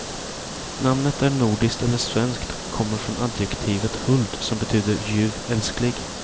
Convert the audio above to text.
Namnet är nordiskt, eller svenskt, och kommer från adjektivet huld, som betyder ljuv, älsklig.